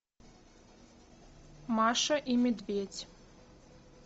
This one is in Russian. маша и медведь